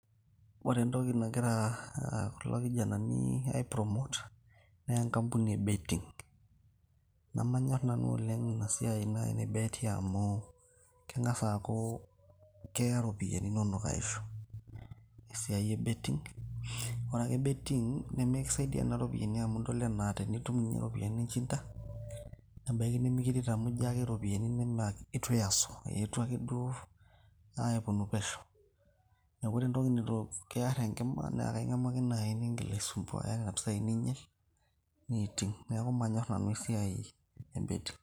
ore entoki nagira kulo kijanani ai CS[promote]CS naa enkambuni e CS[betting]CS namanyor nanu oleng' inasiai naaji e CS[bet]CS amuu keng'asa aaku keya iropiyiani inonok aishu esiai e CS[betting]CS, ore ena siai nemikisaidia nena ropiyiani amuu tenitum inye ropiyiani ninjinda nebaiki nemikiret amuu ijo ake iropiani naa itu iasu keetuo pesho neeku ore entoki neitukiar enkima naa ing'amu ake naaji nisumbuaya nena pisai niinyal neiting' neeku maanyor nanu esiai e CS[betting]CS.